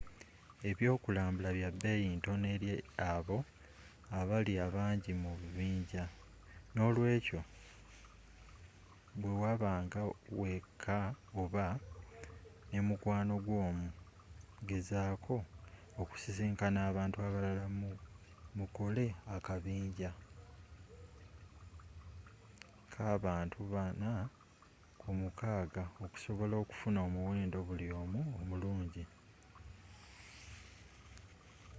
ebyokulambula bya beeyi ntono eri abo abali abangi mu bubinja noolwekyo bwewabanga wekka oba nemukwano gwo omu gezaako okusisinkana abantu abalala mukole akabinja kabantu bana ku mukaaga okusobola okufuna omuwendo buli omu omurungi